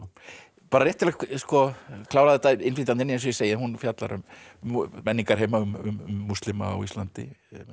bara rétt til að klára þetta innflytjandinn eins og ég segi hún fjallar um menningarheima um múslima á Íslandi